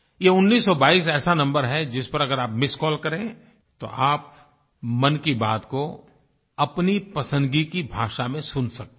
ये उन्नीस सौ बाईस ऐसा नंबर है जिस पर अगर आप मिस्ड कॉल करें तो आप मन की बात को अपनी पसंदगी की भाषा में सुन सकते हैं